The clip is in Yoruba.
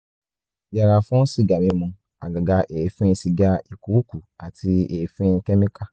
yẹra fún sìgá mímu àgàgà èéfín sìgá ìkuukù àti èéfín kẹ́míkà